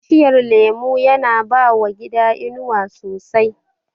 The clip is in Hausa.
Bishiyar lemo yana bawa gida inuwa sosai